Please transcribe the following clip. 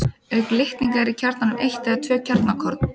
Auk litninga eru í kjarnanum eitt eða tvö kjarnakorn.